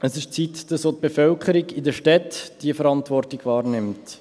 Es ist an der Zeit, dass auch die Bevölkerung in den Städten diese Verantwortung wahrnimmt.